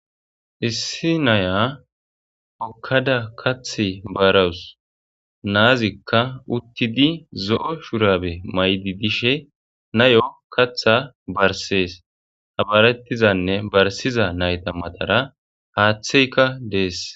issi naya hokkada kath baarawus naazikka uttidi zo7o shurabe maydi dishe nayo katha barsees habarettizanne barsiza nayta matara haaththeyka dees